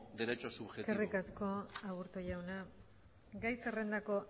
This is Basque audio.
derecho subjetivo eskerrik asko aburto jauna gai zerrendako